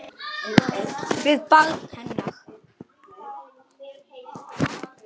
Við barn hennar.